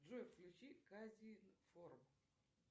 джой включи казинформ